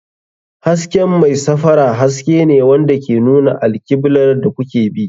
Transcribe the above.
Hasken mai safara haske ne wanda ke nuna alkiblar da kuke bi.